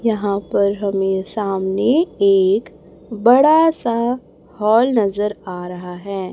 यहां पर हमें सामने एक बड़ा सा हॉल नजर आ रहा है।